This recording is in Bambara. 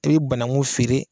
I bɛ banangun feere.